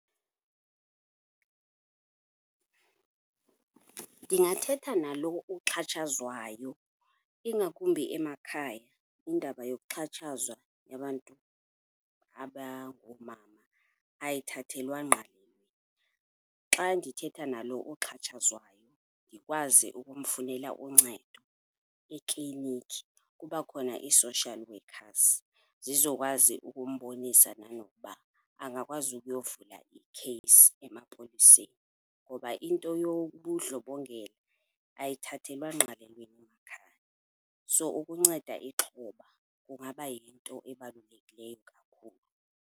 Ndingathetha nalo uxhatshazwayo, ingakumbi emakhaya indaba yokuxhatshazwa yabantu abangoomama ayithathelwa ngqalelo. Xa ndithetha nalo uxhatshazwayo ndikwazi ukumfunela uncedo eklinikhi. Kuba khona ii-social workers, zizokwazi ukumbonisa nanokuba angakwazi ukuyovula ikheyisi emapoliseni. Noba into yobundlobongela ayithathelwa ngqalelo emakhaya, so ukunceda ixhoba kungaba yinto ebalulekileyo kakhulu.